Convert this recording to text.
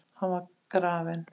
Hann var grafinn.